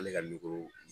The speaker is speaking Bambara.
Ale ka